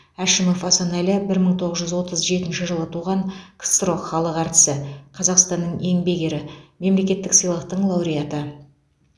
әшімов асанәлі бір мың тоғыз жүз отыз жетінші жылы туған ксро халық әртісі қазақстанның еңбек ері мемлекеттік сыйлықтың лауреаты